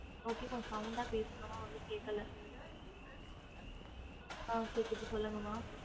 okay கொஞ்சம் ஆஹ் பேசுங்காம ஒன்னும் கேக்கல ஆஹ் கேக்குது சொல்லுங்கம்மா